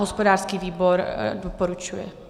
Hospodářský výbor doporučuje.